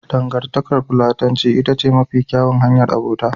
Dangantakar Platonci ita ce mafi kyawun hanyar abota.